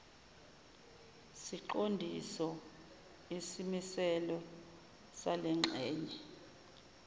ziqondiso isimiselo salengxenye